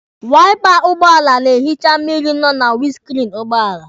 Waipa ụgbọala na-ehicha mmịrị nọ na winiskriini ụgbọala.